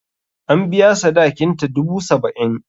An biya sadakinta, dubu saba'in.